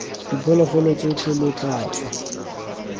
diphologolo tsotlhe lo tla tswa